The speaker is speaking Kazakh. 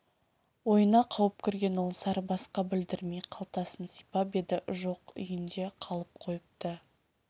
ойына қауіп кірген ол сарыбасқа білдірмей қалтасын сипап еді жоқ үйінде қалып қойыпты